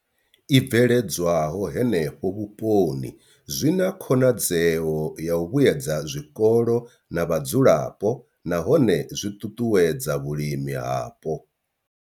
I bveledzwaho henefho vhuponi zwi na khonadzeo ya u vhuedza zwikolo na vhadzulapo nahone zwi ṱuṱuwedza vhulimi hapo.